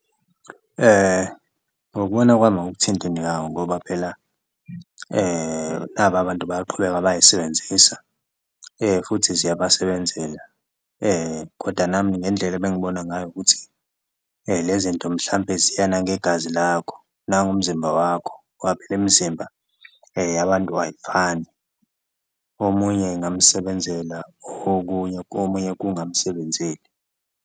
Ngokubona kwami awukuthinti ngoba phela naba abantu bayaqhubeka bayisebenzisa futhi ziyabasebenzela koda nami ngendlela ebengibona ngayo ukuthi le zinto mhlampe ziyanangegazi lakho nangomzimba wakho ngoba phela imizimba yabantu ayifani, omunye ingamsebenzela okunye komunye kungamsebenzeli.